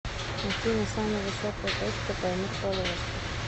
афина самая высокая точка таймыр полуостров